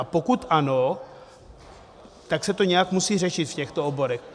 A pokud ano, tak se to nějak musí řešit v těchto oborech.